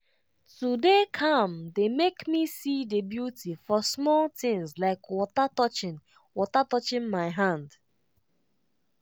to dey calm dey make me see the beauty for small things like water touching water touching my hand.